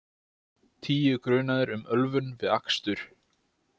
Tíu grunaðir um ölvun við akstur